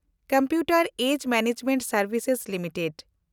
ᱠᱚᱢᱯᱭᱩᱴᱮᱱᱰ ᱩᱢᱮᱨ ᱵᱮᱵᱮᱥᱛᱟ ᱥᱮᱱᱰᱵᱷᱥᱮᱥ ᱞᱤᱢᱤᱴᱮᱰ